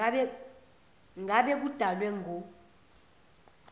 ngabe kudalwe ngu